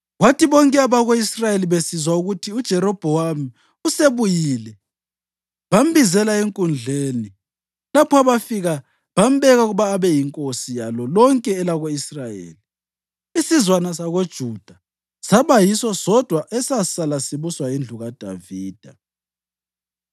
Kwathi bonke abako-Israyeli besizwa ukuthi uJerobhowamu usebuyile bambizela enkundleni lapho abafika bambeka ukuba abe yinkosi yalo lonke elako-Israyeli. Isizwana sakoJuda saba yiso sodwa esasala sibuswa yindlu kaDavida.